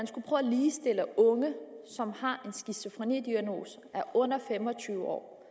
prøve at ligestille unge som er under fem og tyve år